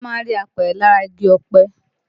Wọ́n má ń rí apẹ̀rẹ̀ lára igi ọ̀pẹ